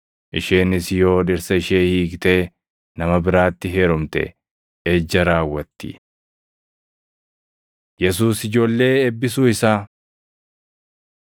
Isheenis yoo dhirsa ishee hiiktee nama biraatti heerumte ejja raawwatti.” Yesuus Ijoollee Eebbisuu Isaa 10:13‑16 kwf – Mat 19:13‑15; Luq 18:15‑17